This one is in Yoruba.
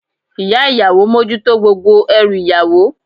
Ìyá ìyàwó mójútó gbogbo ẹrù ìyàwó.